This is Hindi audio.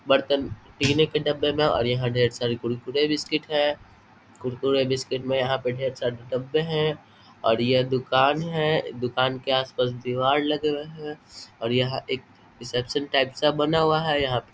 बर्तन पीने के डब्बे में और यहां ढेर सारे कुरकुरे बिस्कुट है कुरकुरे बिस्कुट में यहाँ पे ढेर सा ढाबे है और यह दुकान है दुकान के आस-पास दिवार लगे हुए है और यह एक रिसेप्शन टाइप सा बना हुआ है यहाँ पे |